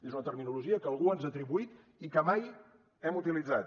és una terminologia que algú ens ha atribuït i que mai hem utilitzat